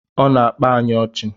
Ọ na-akpa anyị ọchị